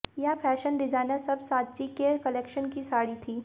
यह fashion designer सव्यसाची के कलेक्शन की साड़ी थी